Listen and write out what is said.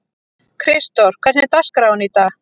Kristdór, hvernig er dagskráin í dag?